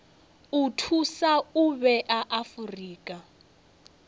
o thusa u vhea afurika